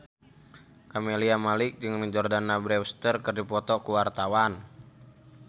Camelia Malik jeung Jordana Brewster keur dipoto ku wartawan